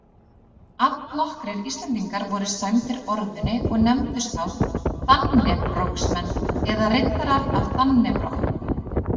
Allnokkrir Íslendingar voru sæmdir orðunni og nefndust þá dannebrogsmenn eða riddarar af dannebrog.